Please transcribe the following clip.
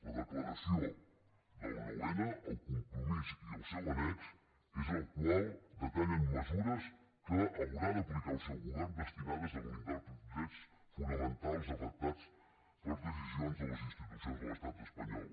la declaració del nou n el compromís i el seu annex és el que detalla mesures que haurà d’aplicar el seu govern destinades a blindar els drets fonamentals afectats per decisions de les institucions de l’estat espanyol